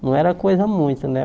Não era coisa muito, né?